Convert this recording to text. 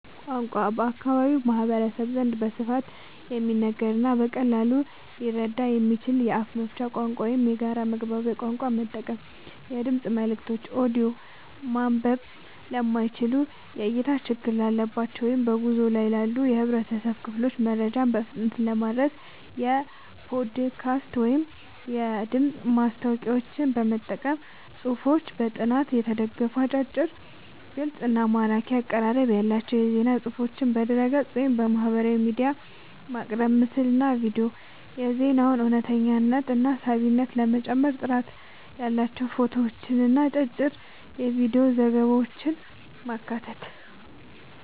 ቋንቋ፦ በአካባቢው ማህበረሰብ ዘንድ በስፋት የሚነገርንና በቀላሉ ሊረዳ የሚችልን የአፍ መፍቻ ቋንቋ ወይም የጋራ መግባቢያ ቋንቋ መጠቀም። የድምፅ መልእክቶች (ኦዲዮ)፦ ማንበብ ለማይችሉ፣ የእይታ ችግር ላለባቸው ወይም በጉዞ ላይ ላሉ የህብረተሰብ ክፍሎች መረጃን በፍጥነት ለማድረስ የፖድካስት ወይም የድምፅ ማስታወቂያዎችን መጠቀም። ጽሁፎች፦ በጥናት የተደገፉ፣ አጫጭር፣ ግልጽ እና ማራኪ አቀራረብ ያላቸው የዜና ፅሁፎችን በድረ-ገጽ፣ ወይም በማህበራዊ ሚዲያ ማቅረብ። ምስልና ቪዲዮ፦ የዜናውን እውነተኝነትና ሳቢነት ለመጨመር ጥራት ያላቸው ፎቶዎችንና አጫጭር የቪዲዮ ዘገባዎችን ማካተት።